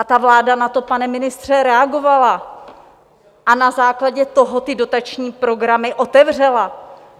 A ta vláda na to, pane ministře, reagovala a na základě toho ty dotační programy otevřela.